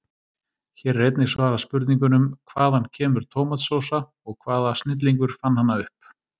Hér er einnig svarað spurningunum: Hvaðan kemur tómatsósa og hvaða snillingur fann hana upp?